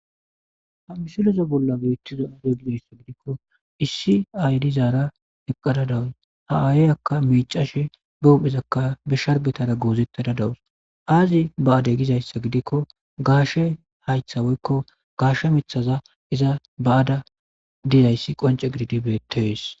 Misile bolla beetizaaro giddiko, issi aaye dizara eqqidaro. Ha aayikka miicashe, ba oosakka ba sharbetara goozittara dawuso. Aazi baadegizaysagiddiko, gaashe hayta woyko gaashe miitaza iza baada diza iza qonce gididi be'ettees.